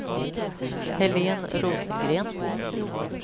Helén Rosengren